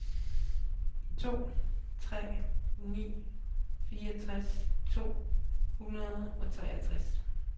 to tre ni to fireogtres to hundrede og treogtres